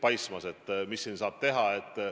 Mida siin saab teha?